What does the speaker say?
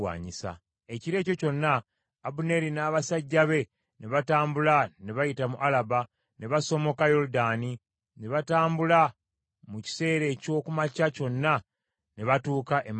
Ekiro ekyo kyonna Abuneeri n’abasajja be ne batambula ne bayita mu Alaba, ne basomoka Yoludaani, ne batambula mu kiseera eky’oku makya kyonna ne batuuka e Makanayimu.